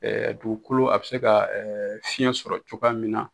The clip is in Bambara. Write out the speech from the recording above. dugukolo a bɛ se ka fiyɛn sɔrɔ cogoya min na.